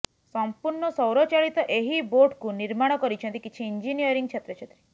ସମ୍ପୂର୍ଣ୍ଣ ସୌରଚାଳିତ ଏହି ବୋଟ୍କୁ ନିର୍ମାଣ କରିଛନ୍ତି କିଛି ଇଞ୍ଜିନିୟରିଂ ଛାତ୍ରଛାତ୍ରୀ